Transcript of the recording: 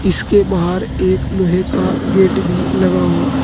इसके बाहर एक लोहे का गेट भी लगा हुआ है।